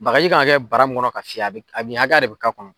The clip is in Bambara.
Bagaji k'an ka kɛ bara mun kɔnɔ ka fiyɛ a mink, a mi a da de bɛ ka kɔnɔ.